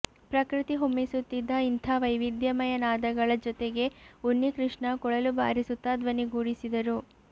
ಪ್ರಕೃತಿ ಹೊಮ್ಮಿಸುತ್ತಿದ್ದ ಇಂಥ ವೈವಿಧ್ಯಮಯ ನಾದಗಳ ಜೊತೆಗೆ ಉನ್ನಿಕೃಷ್ಣ ಕೊಳಲು ಬಾರಿಸುತ್ತ ಧ್ವನಿಗೂಡಿಸಿದರು